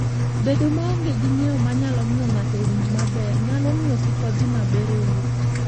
Bedo maonge gi ng'eyo manyalo miyo ng'ato owinj maber, nyalo miyo kik odhi maber e wuoth.